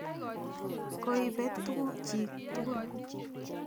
Koipet tuguk chik tukul.